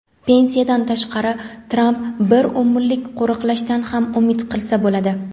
Pensiyadan tashqari Tramp bir umrlik qo‘riqlashdan ham umid qilsa bo‘ladi.